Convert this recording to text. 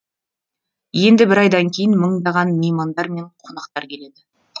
енді бір айдан кейін мыңдаған меймандар мен қонақтар келеді